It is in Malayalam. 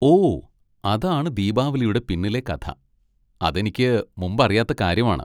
ഓ, അതാണ് ദീപാവലിയുടെ പിന്നിലെ കഥ. അത് എനിക്ക് മുമ്പ് അറിയാത്ത കാര്യമാണ്.